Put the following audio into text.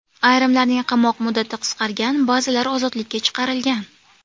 Ayrimlarning qamoq muddati qisqargan, ba’zilar ozodlikka chiqarilgan.